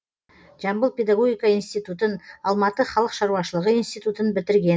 жамбыл педагогика институтын алматы халық ш институтын бітірген